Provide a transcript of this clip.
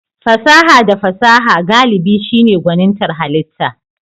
Fasaha da fasaha galibi shine gwanintar halitta.